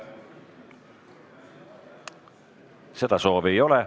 Seda soovi ei ole.